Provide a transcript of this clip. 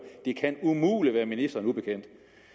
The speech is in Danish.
det kan umuligt være ministeren ubekendt